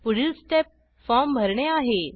पुढील step form भरणे आहे